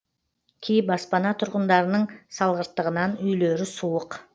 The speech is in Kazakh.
кей баспана тұрғындарының салғырттығынан үйлері суық